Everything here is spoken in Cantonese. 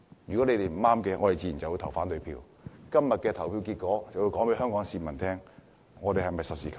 如果是不對的，我們自然會投反對票，今天的投票結果就會告訴香港市民，建制派是否實事求是。